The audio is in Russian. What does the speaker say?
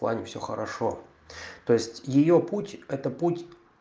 плане всё хорошо то есть её путь это путь